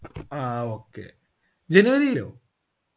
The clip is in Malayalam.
ആ okayjanuary ലോ